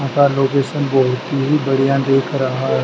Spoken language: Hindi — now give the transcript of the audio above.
यहां का लोकेशन बहुत ही बढ़िया दिख रहा है।